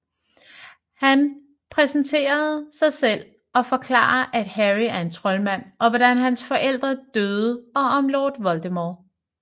Han præsenterer sig selv og forklarer at Harry er en troldmand og hvordan hans forældre døde og om Lord Voldemort